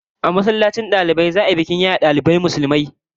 A masallacin dalibai za'a shirya bikin yaye dalibai Musulmi